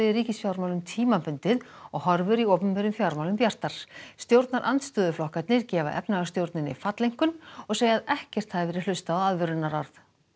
í ríkisfjármálum tímabundið og horfur í opinberum fjármálum bjartar stjórnarandstöðuflokkarnir gefa efnahagsstjórninni falleinkunn og segja að ekkert hafi verið hlustað á aðvörunarorð